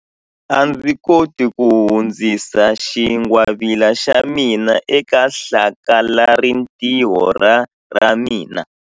A ndzi koti ku hundzisa xingwavila xa mina eka hlakalarintiho ra ra mina.